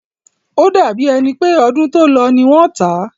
O dàbí è pé ọdún tó lọ ní wọ́n tá.